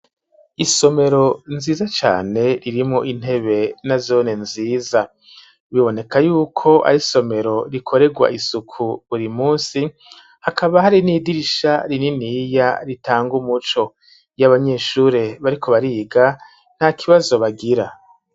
Isomero nziza cane irimwo intebe na zone nziza ,biboneka yuko ari somero rikoregwa isuku buri munsi ,hakaba hari n'idirisha rininiya ritanga umuco, iy'abanyeshure bariko bariga nta kibazo bagira.